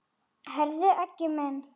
Heyrðu Aggi minn.